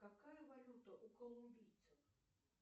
какая валюта у колумбийцев